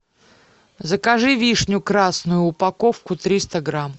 закажи вишню красную упаковку триста грамм